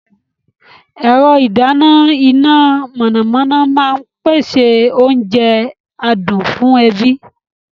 Ẹ̀rọ ìdáná iná mọ̀nàmọ́ná máa ń pèsè oúnjẹ adùn fún ẹbí.